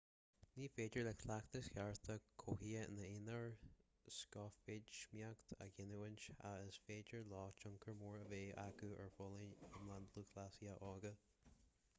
ní féidir le cleachtais chearta cothaithe ina n-aonar scothfheidhmíocht a ghiniúint ach is féidir leo tionchar mór a bheith acu ar fholláine iomlán lúthchleasaithe óga